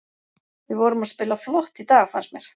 Við vorum að spila flott í dag fannst mér.